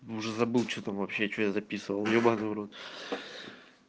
уже забыл что там вообще что я записывал ебанный в рот